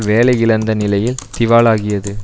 வேலை இழந்த நிலையில் திவாலாகியது